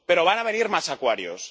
Pero van venir más Aquarius.